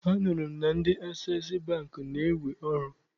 Anụrụ m na ndị Asees Bankị na-ewe ọrụ.